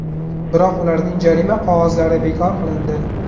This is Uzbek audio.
Biroq ularning jarima qog‘ozlari bekor qilindi.